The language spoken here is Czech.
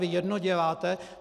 Vy jedno děláte...